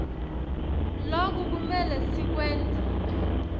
loku kumele sikwente